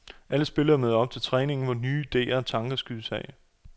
Alle spillerne møder op til træningen, hvor nye ideer og tanker skydes af.